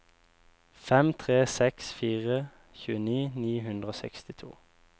fem tre seks fire tjueni ni hundre og sekstito